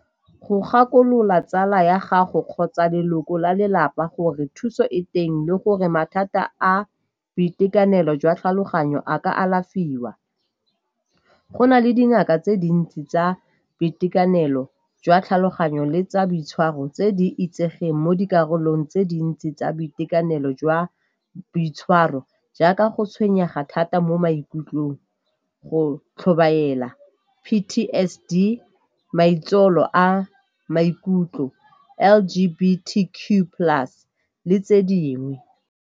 Go gakolola tsala ya gago kgotsa leloko la lelapa gore thuso e teng le gore mathata a boitekanelo jwa tlhaloganyo a ka alafiwa. Go na le dingaka tse dintsi tsa boitekanelo jwa tlhaloganyo le tsa boitshwaro tse di itsegeng mo dikarolong tse dintsi tsa boitekanelo jwa boitshwaro, jaaka go tshwenyega thata mo maikutlong, go tlhobaela, P_T_S_D, maitsholo a maikutlo, L_Q_B_T_Q plus le tse dingwe.